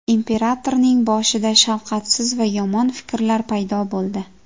Imperatorning boshida shafqatsiz va yomon fikrlar paydo bo‘ldi”.